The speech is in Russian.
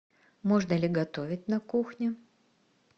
можно ли готовить на кухне